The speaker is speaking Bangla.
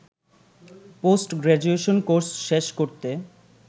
পোস্ট গ্রাজুয়েশন কোর্স শেষ করতে